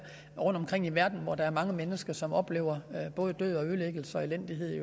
rundtomkring i verden hvor der er mange mennesker som oplever både død ødelæggelse og elendighed